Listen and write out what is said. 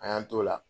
An y'an t'o la